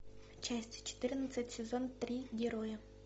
часть четырнадцать сезон три герои